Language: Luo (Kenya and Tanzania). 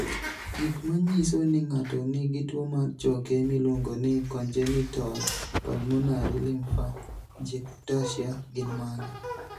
Gik manyiso ni ng'ato nigi tuwo mar choke miluongo ni congenital pulmonary lymphangiectasia gin mage?